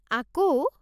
আকৌ?